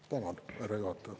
Tänan, härra juhataja!